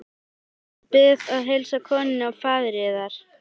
Richard Bið að heilsa konunni og faðir yðar.